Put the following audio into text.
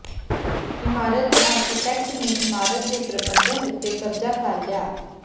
ਇਮਾਰਤ ਦੇ ਆਰਕੀਟੈਕਟ ਨੇ ਇਮਾਰਤ ਦੇ ਪ੍ਰਬੰਧਨ ਉੱਤੇ ਕਬਜ਼ਾ ਕਰ ਲਿਆ